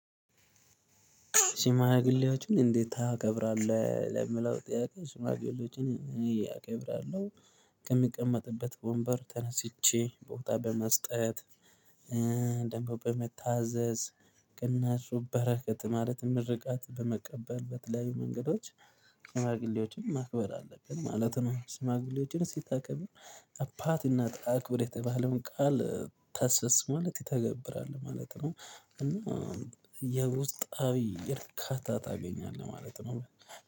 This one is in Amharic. ሽማግሌዎችን እንዴት ታከብራለህ? ለምለው ጥያቄ ሽማግሌዎችን እያከብራለሁ ከሚቀመጥበት ወንበር ተነስቼ ቦታ በመስጠት። ደሞ በመታዘዝ ቅንነቱ በረከት ማለት ምርቃት በመቀበል በተለያዩ መንገዶች። ሺማግሌዎችን ማክበር አለብን ማለት ነው። ሺማግሌዎችን ሲታከብር አባት እናት አክብር የተባለውን ቃል ታስፈፅማል ትተገብራለህ ማለት ነው። እና የውስጣዊ እርካታ ታገኛለህ ማለት ነው